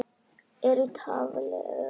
Er í tafli öflug næsta.